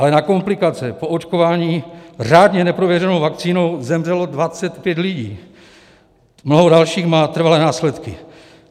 Ale na komplikace po očkování řádně neprověřenou vakcínou zemřelo 25 lidí, mnoho dalších má trvalé následky.